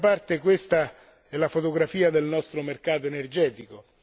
D'altra parte, questa è la fotografia del nostro mercato energetico.